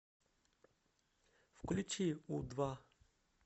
включи у два